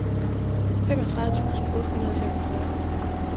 femogtredive tusind otte hundrede og femogfyrre